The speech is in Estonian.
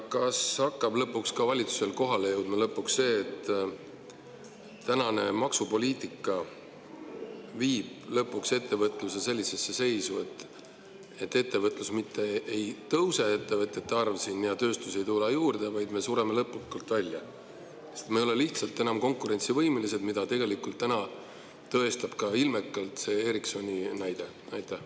Kas lõpuks hakkab ka valitsusele kohale jõudma, et praegune maksupoliitika viib lõpuks ettevõtluse sellisesse seisu, et ettevõtete arv siin mitte ei tõuse ja tööstust ei tule juurde, vaid me sureme lõplikult välja, sest me ei ole lihtsalt enam konkurentsivõimelised, mida tõestab ilmekalt ka see Ericssoni näide?